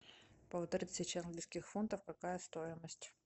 полторы тысячи английских фунтов какая стоимость